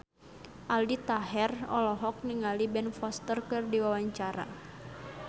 Aldi Taher olohok ningali Ben Foster keur diwawancara